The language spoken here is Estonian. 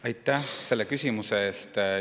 Aitäh selle küsimuse eest!